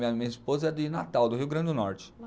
Minha esposa é de Natal, do Rio Grande do Norte.